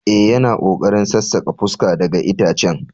Eh, yana kokarin sassaka fuska daga itacen.